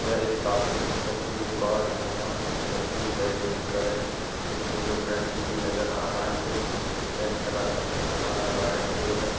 यह एक कॉपी पुस्तक की दुकान है जहाँ एक व्यक्ति सेटिंग करे स्टूल में बैठे हुए नजर आ रहा है जो ब्लैक कलर का चश्मा लगाए हुए है।